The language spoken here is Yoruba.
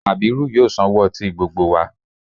Kàbírù yóò sanwó ọtí gbogbo wa